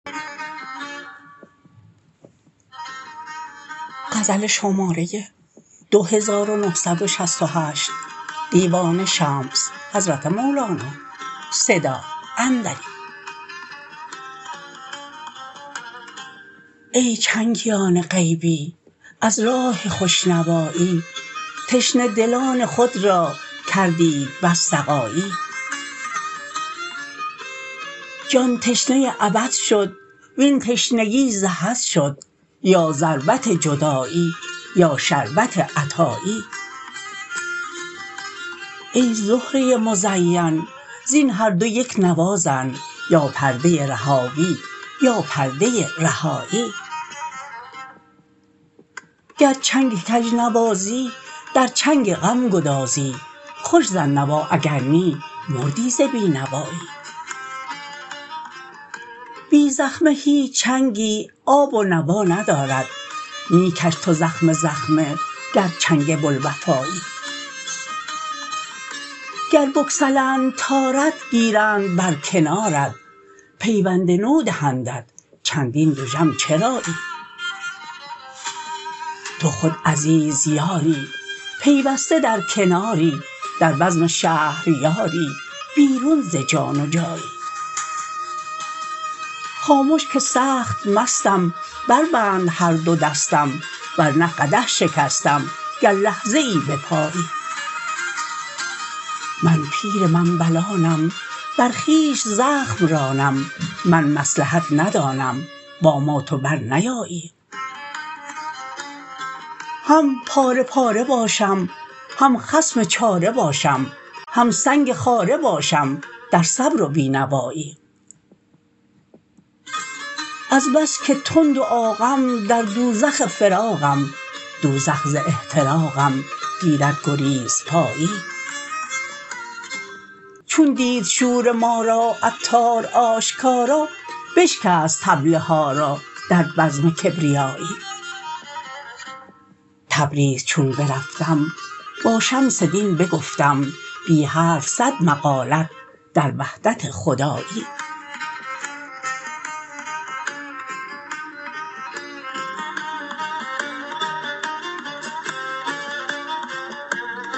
ای چنگیان غیبی از راه خوش نوایی تشنه دلان خود را کردید بس سقایی جان تشنه ابد شد وین تشنگی ز حد شد یا ضربت جدایی یا شربت عطایی ای زهره مزین زین هر دو یک نوا زن یا پرده رهاوی یا پرده رهایی گر چنگ کژ نوازی در چنگ غم گدازی خوش زن نوا اگر نی مردی ز بی نوایی بی زخمه هیچ چنگی آب و نوا ندارد می کش تو زخمه زخمه گر چنگ بوالوفایی گر بگسلند تارت گیرند بر کنارت پیوند نو دهندت چندین دژم چرایی تو خود عزیز یاری پیوسته در کناری در بزم شهریاری بیرون ز جان و جایی خامش که سخت مستم بربند هر دو دستم ور نه قدح شکستم گر لحظه ای بپایی من پیر منبلانم بر خویش زخم رانم من مصلحت ندانم با ما تو برنیایی هم پاره پاره باشم هم خصم چاره باشم هم سنگ خاره باشم در صبر و بی نوایی از بس که تند و عاقم در دوزخ فراقم دوزخ ز احتراقم گیرد گریزپایی چون دید شور ما را عطار آشکارا بشکست طبل ها را در بزم کبریایی تبریز چون برفتم با شمس دین بگفتم بی حرف صد مقالت در وحدت خدایی